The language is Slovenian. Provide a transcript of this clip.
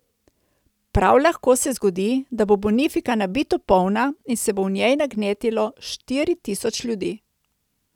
Prav lahko se zgodi, da bo Bonifika nabito polna in se bo v njej nagnetlo štiri tisoč ljudi.